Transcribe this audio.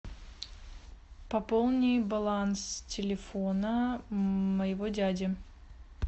пополни баланс телефона моего дяди